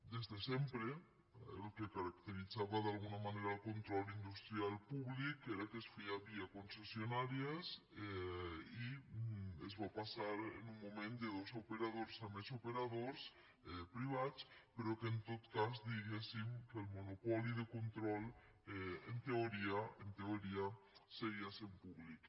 des de sempre el que caracteritzava d’alguna manera el control industrial públic era que es feia via concessionàries i es va passar en un moment de dos operadors a més operadors privats però en tot cas diguéssim el monopoli de control en teoria en teoria seguia sent públic